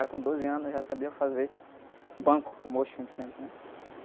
Já com doze anos, eu já sabia fazer banco, o mocho que a gente senta, né?